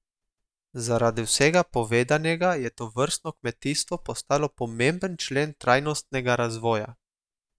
Zaradi vsega povedanega je tovrstno kmetijstvo postalo pomemben člen trajnostnega razvoja.